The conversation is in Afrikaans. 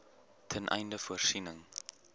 ten einde voorsiening